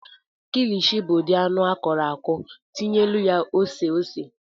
kilichi bụ anụ akọrọ akọrọ tinyelụ ya ose ose.